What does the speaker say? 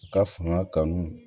U ka fanga kanu